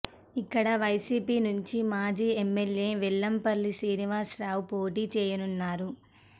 ఇక్కడ వైసీపీ నుంచి మాజీ ఎమ్మెల్యే వెల్లంపల్లి శ్రీనివాసరావు పోటీ చేయనున్నారు